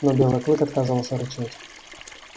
но белый клык отказался рычать